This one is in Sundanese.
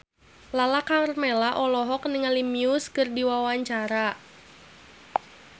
Lala Karmela olohok ningali Muse keur diwawancara